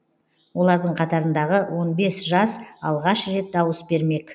олардың қатарындағы он бес жас алғаш рет дауыс бермек